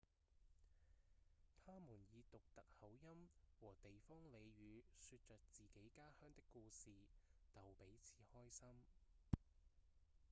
他們以獨特口音和地方俚語說著自己家鄉的故事逗彼此開心